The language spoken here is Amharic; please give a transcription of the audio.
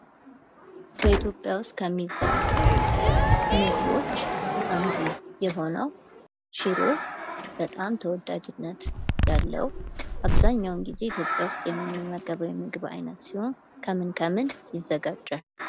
በኢትዮጵያ ውስጥ ከሚዘወተሩ ምግቦች አንዱ የሆነው ሽሮ በጣም ተወዳጅነት ያለው አብዛኛውን ጊዜ ኢትዮጵያ ውስጥ የምንመገበው የምግብ አይነት ሲሆን፤ ከምን ከምን ይዘጋጃል?